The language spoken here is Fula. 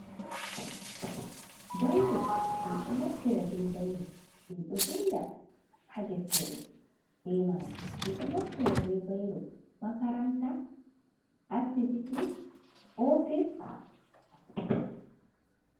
Bairo min ɗo naftira be bairo min ɗo vinda ha deftere be maji min ɗo naftira be bairo makaranta, asibity, office.